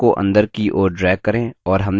arrow को अंदर की ओर drag करें